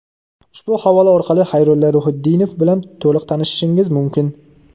Ushbu havola orqali Xayrulla Ruhitdinov bilan to‘liq tanishishingiz mumkin.